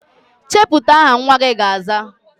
Chepụta aha nnwa gị ga-aza!